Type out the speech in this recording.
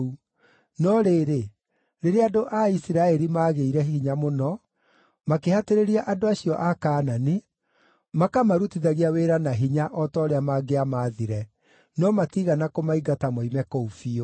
No rĩrĩ, rĩrĩa andũ a Isiraeli maagĩire hinya mũno, makĩhatĩrĩria andũ acio a Kaanani, makamarutithagia wĩra na hinya o ta ũrĩa mangĩamaathire, no matiigana kũmaingata moime kũu biũ.